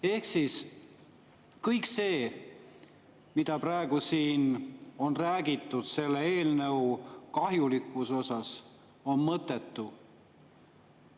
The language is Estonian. " Ehk siis kõik see, mida siin praegu on räägitud selle eelnõu kahjulikkuse kohta, on mõttetu.